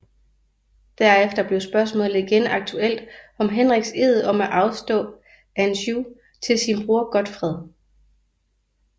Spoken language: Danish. Derefter blev spørgsmålet igen aktuelt om Henriks ed om at afstå Anjou til sin bror Godfred